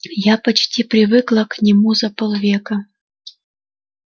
я почти привыкла к нему за полвека